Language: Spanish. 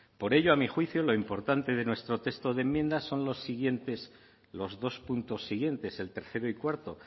por ello a mi juicio lo importante de nuestro texto de enmienda son los siguientes los dos puntos siguientes el tercero y cuarto